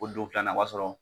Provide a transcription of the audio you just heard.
Fo don filanan o b'a sɔrɔ